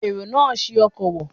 Èrò náà ṣi ọkọ̀ wọ̀